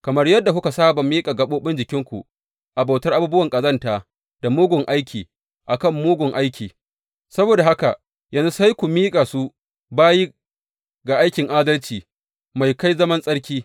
Kamar yadda kuka saba miƙa gaɓoɓin jikinku a bautar abubuwan ƙazanta da mugun aiki a kan mugun aiki, saboda haka yanzu sai ku miƙa su bayi ga aikin adalci mai kai ga zaman tsarki.